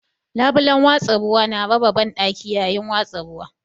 Labulen watsa ruwa na raba banɗaki yayin watsa ruwa.